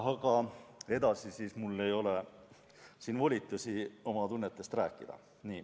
Aga edasi ei ole mul siin volitusi oma tunnetest rääkida.